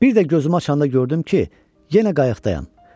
Bir də gözümü açanda gördüm ki, yenə qayıqdayam.